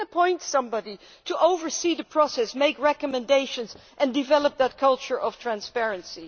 we can appoint somebody to oversee the process, make recommendations and develop a culture of transparency.